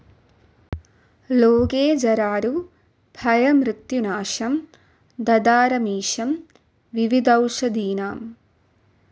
ലോകേ ജരാരുഗ്ഭയമൃത്യുനാശം ധാതാരമീശം വിവിധൌഷധീനാം